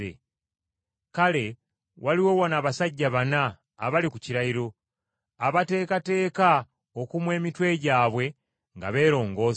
Kale waliwo wano abasajja bana abali ku kirayiro, abateekateeka okumwa emitwe gyabwe nga beerongoosa.